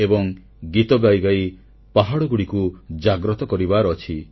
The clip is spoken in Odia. ଏବଂ ଗୀତ ଗାଇଗାଇ ପାହାଡ଼ଗୁଡ଼ିକୁ ଜାଗ୍ରତ କରିବାର ଅଛି